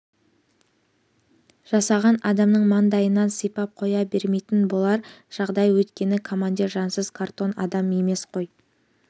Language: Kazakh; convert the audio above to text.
жасаған адамның маңдайынан сипап қоя бермейтін болар жағдай өйткені командир жансыз картон адам емес қой